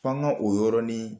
F'an k'o yɔrɔnin